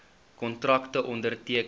kontrakte onderteken